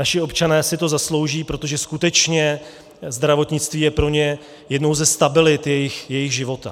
Naši občané si to zaslouží, protože skutečně zdravotnictví je pro ně jednou ze stabilit jejich života.